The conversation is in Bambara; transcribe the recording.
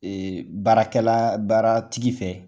Ee baarakɛla baara tigi fɛ